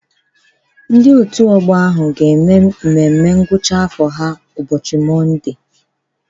Ndị òtù ọgbọ ahụ ga-eme mmemme ngwụcha afọ ha ụbọchị Mọnde.